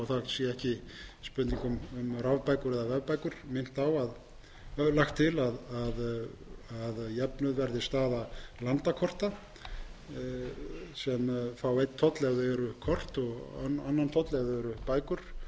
spurning um rafbækur eða vefbækur lagt til að jöfnuð verði staða landakorta sem fá einn toll ef þau eru kort og annan toll ef þau